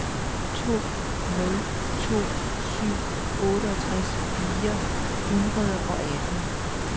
to nul to syv otteogtres fire hundrede og atten